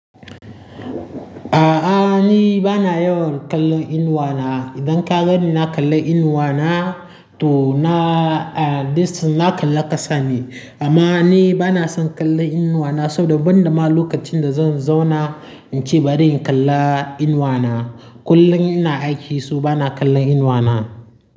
A'a, ni bana yawan kallon Inuwa na. Idan ka gani na kalla Inuwa na, to na, a, dist na kalla ƙasa ne. Amma ni bana son kallon Inuwa na saboda ban da ma lokacin da zan zauna in ce bari in kalla Inuwa na. Kullum ina aiki, saw bana kallon Inuwa na.